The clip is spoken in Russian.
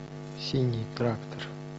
синий трактор